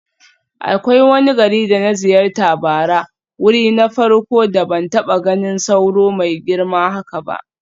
Akwai wani gari da na ziyarta bara, wuri na farko da ban taba ganin sauro mai girma haka ba.